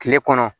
Kile kɔnɔ